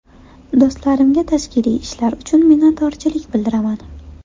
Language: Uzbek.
Do‘stlarimga tashkiliy ishlar uchun minnatdorchilik bildiraman.